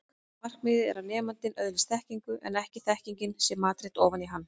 Markmiðið er að nemandinn öðlist þekkingu en ekki að þekkingin sé matreidd ofan í hann.